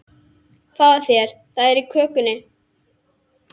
Fáðu þér, það er á könnunni.